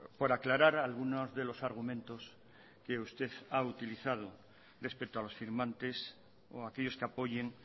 por aclarar algunos de los argumentos que usted ha utilizado respecto a los firmantes o aquellos que apoyen